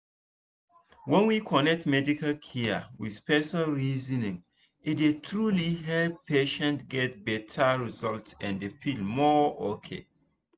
when we connect medical care with person reasoning e dey truly help patients get better result and feel more okay.